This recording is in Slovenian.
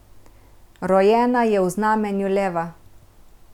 Rojena je v znamenju leva.